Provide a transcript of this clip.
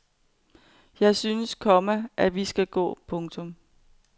Jeg synes, komma at vi skal gå. punktum